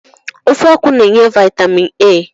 Ofe akwụ n'enye vitamin A